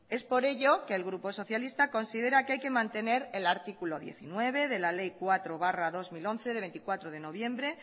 es por ello que el grupo socialista considera que hay que mantener el artículo diecinueve de la ley cuatro barra dos mil once de veinticuatro de noviembre